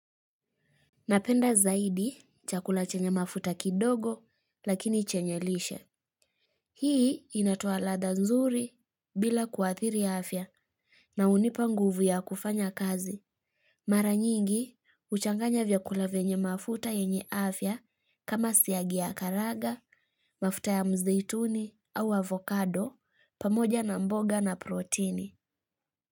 Napenda zaidi chakula chenye mafuta kidogo lakini chenye lishe. Hii inatoa ladha nzuri bila kuadhiri afya na hunipa nguvu ya kufanya kazi. Mara nyingi, huchanganya vyakula vyenye mafuta yenye afya kama siagi ya karaga, mafuta ya mzituni au avocado pamoja na mboga na protini.